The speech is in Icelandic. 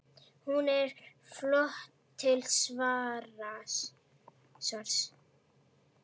Hún er fljót til svars.